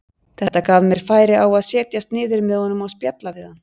Þetta gaf mér færi á að setjast niður með honum og spjalla við hann.